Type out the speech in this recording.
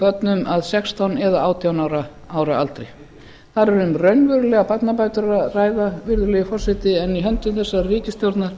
börnum að sextán eða átján ára aldri þar er um raunverulegar barnabætur að ræða virðulegi forseti en í höndum þessarar ríkisstjórna